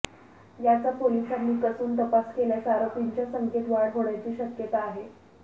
याचा पोलिसांनी कसून तपास केल्यास आरोपींच्या संख्येत वाढ होण्याची शक्यता आहे